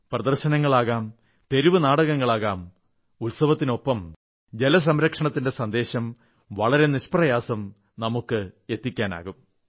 പ്രദർശനങ്ങളാകാം തെരുവുനാടകങ്ങളാകാം ഉത്സവത്തിനൊപ്പം ജലസംരക്ഷണത്തിന്റെ സന്ദേശം വളരെ നിഷ്പ്രയാസം നമുക്ക് എത്തിക്കാനാകും